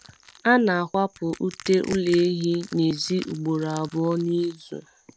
A na akwapu ute ụlọ ehi nezi ugboro abụọ nizuu